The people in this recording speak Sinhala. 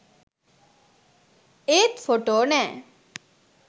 ඒත් ෆොටෝ නෑ